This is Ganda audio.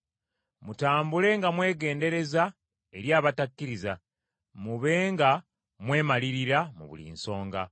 mutambule nga mwegendereza eri abatakkiriza, mube nga mwemalirira mu buli nsonga.